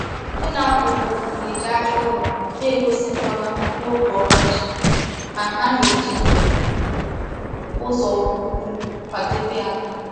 Ndị na-akọ ugbo na-eji aja ụrọ na-egosi mgbawa n’oge ọkọchị, ma ha na-eji ụzọ ugwu kwadebe ala.